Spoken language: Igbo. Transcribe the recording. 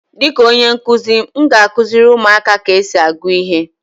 Dịka onye nkuzi, m ga-akụziri ụmụaka ka esi agụ ihe.